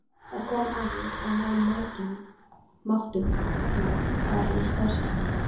Það kom að því að við máttum fara í starfskynningu.